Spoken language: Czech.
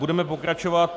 Budeme pokračovat.